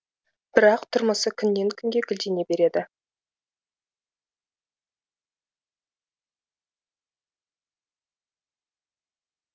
бірақ тұрмысы күннен күнге гүлдене береді